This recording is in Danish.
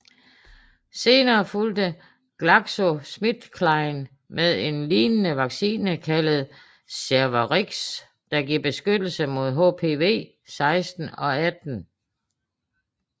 Senere fulgte GlaxoSmithKline med en lignende vaccine kaldet Cervarix der giver beskyttelse mod HPV 16 og 18